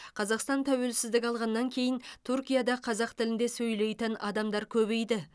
қазақстан тәуелсіздік алғаннан кейін түркияда қазақ тілінде сөйлейтін адамдар көбейді